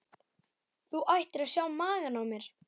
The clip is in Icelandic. Þú ættir að sjá magann á mér.